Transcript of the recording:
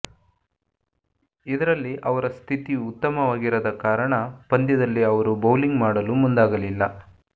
ಇದರಲ್ಲಿ ಅವರ ಸ್ಥಿತಿ ಉತ್ತಮವಾಗಿರದ ಕಾರಣ ಪಂದ್ಯದಲ್ಲಿ ಅವರು ಬೌಲಿಂಗ್ ಮಾಡಲು ಮುಂದಾಗಲಿಲ್ಲ